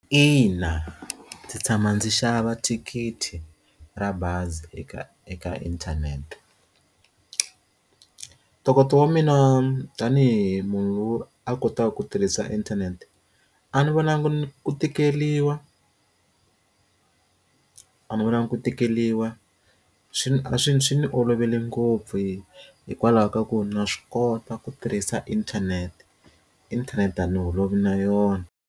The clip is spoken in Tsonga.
Ina, ndzi tshama ndzi xava thikithi ra bazi eka eka inthanete ntokoto wa mina tanihi munhu loyi a kota ku tirhisa inthanete a ni vonangi ni ni ku tikeriwa a ni vonangi ku tikeriwa swi a swi swi ni olovele ngopfu hi hikwalaho ka ku na swi kota ku tirhisa inthanete inthanete a ni holovi na yona.